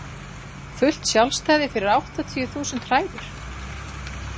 Fullt sjálfstæði fyrir áttatíu þúsund hræður?